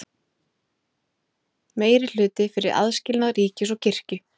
Meirihluti fyrir aðskilnaði ríkis og kirkju